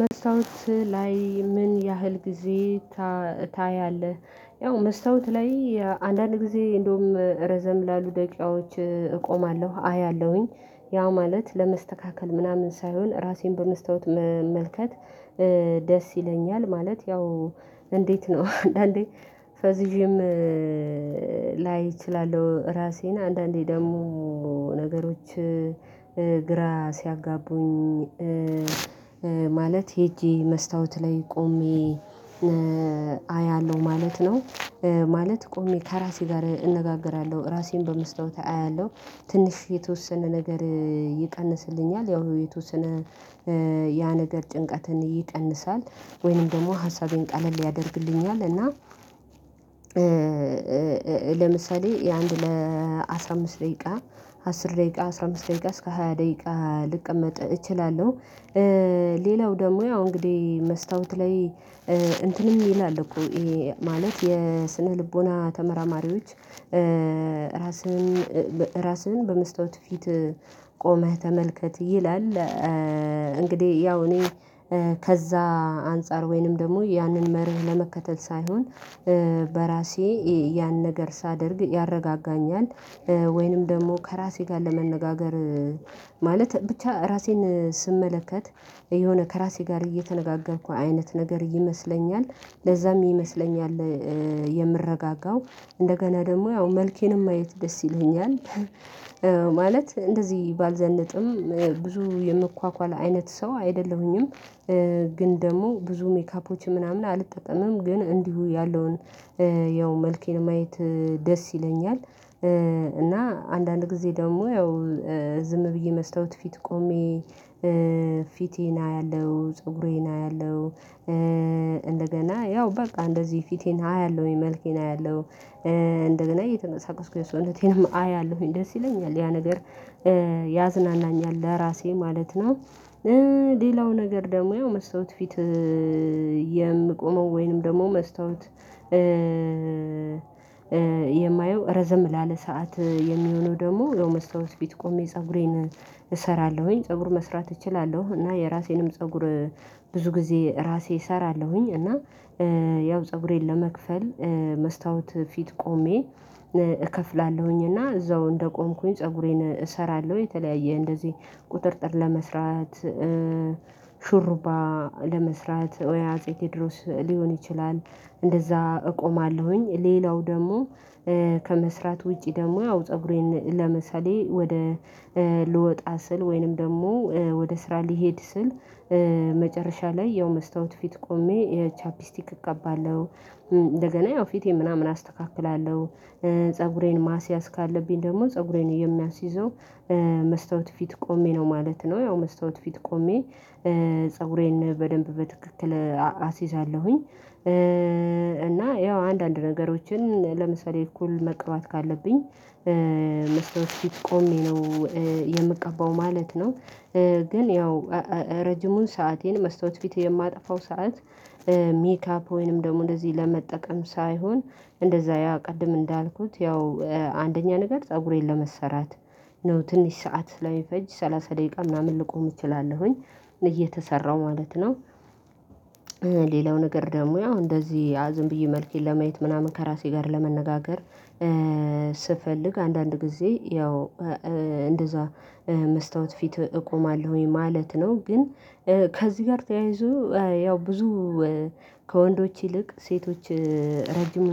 መስታወት ላይ ምን ያህል ጊዜ ታያለህ? ያው መስታወት ላይ አንዳንድ ጊዜ እንደውም ረዘም ላሉ ደቂቃዎች እቆማለሁ አያለሁኝ ያው ማለት ለመስተካከል ምናምን ሳይሆን ራሴን በመስታወት መመልከት። ደስ ይለኛል ማለት ያው እንዴት ነው አንዳንዴ ፈዝዥም ላይ እችላለሁ ራሴን አንዳንዴ ደግሞ ነገሮች ግራ ሲያጋቡኝ። ማለት ሄጄ መስታወት ላይ ቆሜ አያለሁ ማለት ነው። ማለት ቆሜ ከራሴ ጋር እነጋገራለሁ ራሴን በመስታወት አያለሁ። ትንሽ የተወሰነ ነገር ይቀንስልኛል ያው የተወሰነ ያ ነገር ጭንቀትን ይቀንሳል ወይንም ደግሞ ሀሳቤን ቀለል ያደርግልኛል እና። ለምሳሌ የአንድ ለአስራ አምስት ደቂቃ አስር ደቂቃ አስራ አምስት ደቂቃ እስከ ሃያ ደቂቃ ልቀመጥ እችላለሁ። ሌላው ደግሞ ያው እንግዲህ መስታወት ላይ እንትንም ይላል እኮ ይሄ ማለት የስነ ልቦና ተመራማሪዎች ራስህን ራስህን በመስታወት ፊት ቆመህ ተመልከት ይላል። እንግዲህ ያው እኔ ከዛ አንፃር ወይንም ደግሞ ያንን መርህ ለመከተል ሳይሆን በራሴ ያን ነገር ሳደርግ ያረጋጋኛል። ወይንም ደግሞ ከራሴ ጋር ለመነጋገር ማለት ብቻ ራሴን ስመለከት የሆነ ከራሴ ጋር እየተነጋገርኩ አይነት ነገር ይመስለኛል ለዛም ይመስለኛል የምረጋጋው እንደገና ደግሞ ያው መልኬንም ማየት ደስ ይለኛል። ማለት እንደዚህ ባልዘነጥም ብዙ የምኳኳል አይነት ሰው አይደለሁኝም። ግን ደግሞ ብዙ ሜካፖች ምናምን አልጠጠምም ግን እንዲሁ ያለውን ያው መልኬን ማየት ደስ ይለኛል። እና አንዳንድ ጊዜ ደግሞ ያው ዝም ብዬ መስታወት ፊት ቆሜ ፊቴን አያለሁ ፀጉሬን አያለሁ። እንደገና ያው በቃ እንደዚህ ፊቴን አያለሁ መልኬን አያለሁ እንደገና እየተመሳቀስኩ ሰውነቴም አያለሁኝ ደስ ይለኛል ያ ነገር ያዝናናኛል ለራሴ ማለት ነው። ሌላው ነገር ደግሞ ያው መስታወት ፊት የምቆመው ወይንም ደግሞ መስታወት የማየው ረዘም ላለ ሰዓት የሚሆነው ደግሞ መስታወት ፊት ቆሜ ፀጉሬን እሰራለሁኝ ፀጉር መስራት እችላለሁ። እና የራሴንም ፀጉር ብዙ ጊዜ ራሴ እሰራለሁኝ እና ያው ፀጉሬን ለመክፈል መስታወት ፊት ቆሜ እከፍላለሁኝ እና እዛው እንደቆምኩኝ ፀጉሬን እሰራለሁ የተለያየ እንደዚህ ቁጥጥር ለመስራት ሹሩባ ለመስራት ወይ አጼ ቴዎድሮስ ሊሆን ይችላል። እንደዛ እቆማለሁኝ ሌላው ደግሞ ከመስራት ውጪ ደግሞ ያው ፀጉሬን ለምሳሌ ወደ ልወጣ ስል ወይንም ደግሞ ወደ ስራ ልሄድ ስል መጨረሻ ላይ ያው መስታወት ፊት ቆሜ ቻፒስቲክ እቀባለሁ። እንደገና ያው ፊቴ ምናምን አስተካክላለሁ ፀጉሬን ማስያዝ ካለብኝ ደግሞ ፀጉሬን የሚያስይዘው መስታወት ፊት ቆሜ ነው ማለት ነው። ያው መስታወት ፊት ቆሜ ፀጉሬን በደንብ በትክክል አስይዛለሁኝ። እና ያው አንዳንድ ነገሮችን ለምሳሌ እኩል መቀባት ካለብኝ መስተዋት ፊት ቆሜ ነው የምቀባው ማለት ነው። ግን ያው ረጅሙን ሰአቴን መስታወት ፊት የማጠፋው ሰዓት ሜካፕ ወይንም ደግሞ እንደዚህ ለመጠቀም ሳይሆን እንደዛ ያ ቅድም እንዳልኩት ያው አንደኛ ነገር ፀጉሬን ለመሰራት ነው ትንሽ ሰዓት ላይ ስለሚፈጅ ሰላሳ ደቂቃ ምናምን ልቆም እችላለሁኝ እየተሰራሁ ማለት ነው። ሌላው ነገር ደግሞ ያው እንደዚህ ዝም ብዬ መልኬን ለመየት ምናምን ከራሴ ጋር ለመነጋገር ስፈልግ አንዳንድ ጊዜ ያው እንደዛ መስታወት ፊት እቆማለሁኝ ማለት ነው። ግን ከዚህ ጋር ተያይዞ ያው ብዙ ከወንዶች ይልቅ ሴቶች ረጅም